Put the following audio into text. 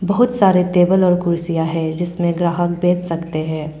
बहुत सारे टेबल और कुर्सियां है जिस में ग्राहक बैठ सकते हैं।